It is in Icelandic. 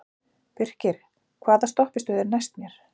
Birkir, hvaða stoppistöð er næst mér?